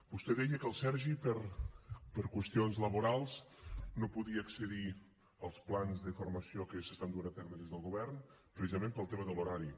vostè deia que el sergi per qüestions laborals no podia accedir als plans de formació que s’estan duent a terme des del govern precisament pel tema de l’horari